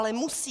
Ale musí.